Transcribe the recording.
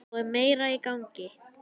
Þá er meira í gangi.